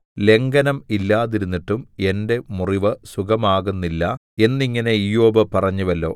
ലംഘനം ഇല്ലാതിരുന്നിട്ടും എന്റെ മുറിവ് സുഖമാകുന്നില്ല എന്നിങ്ങനെ ഇയ്യോബ് പറഞ്ഞുവല്ലോ